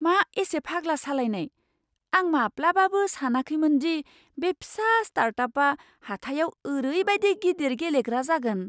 मा एसे फाग्ला सालायनाय! आं माब्लाबाबो सानाखैमोनदि बे फिसा स्टार्टआपआ हाथाइआव ओरैबायदि गिदिर गेलेग्रा जागोन।